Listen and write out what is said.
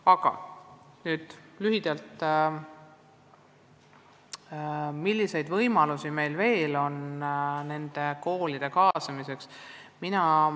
Aga nüüd lühidalt, milliseid võimalusi meil on nende koolide kaasamiseks.